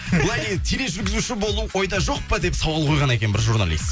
былай дейді тележүргізуші болу ойда жоқ па деп сауал қойған екен бір журналист